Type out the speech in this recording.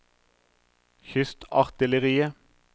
kystartilleriet